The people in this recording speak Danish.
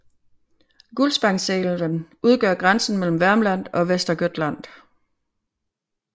Gullspångsälven udgør grænsen mellem Värmland og Västergötland